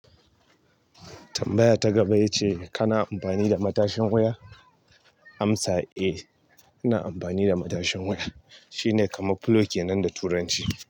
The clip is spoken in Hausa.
Tambaya ta gaba ya ce kana amfani da matashin waya? Amsa, eh ina amfani da matashin wuya shine kamar pillow kenan da turanci.